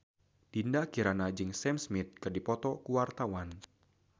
Dinda Kirana jeung Sam Smith keur dipoto ku wartawan